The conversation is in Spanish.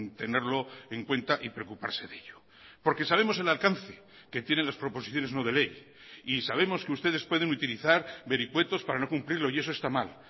tenerlo en cuenta y preocuparse de ello porque sabemos el alcance que tienen las proposiciones no de ley y sabemos que ustedes pueden utilizar vericuetos para no cumplirlo y eso está mal